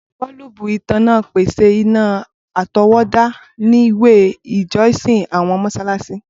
Boolubu itanna n pese ina atọwọda ni we ijọsin, awọn mọṣalaṣi e.t.c.